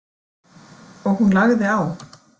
Og hún lagði á.